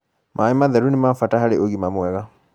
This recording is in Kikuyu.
maĩ matheru nimabata harĩ ũgima mwega